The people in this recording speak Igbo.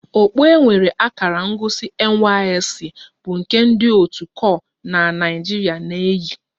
Okpu nwere akara ngosi NYSC bụ nke ndị otu kor na Naijirịa na-eyi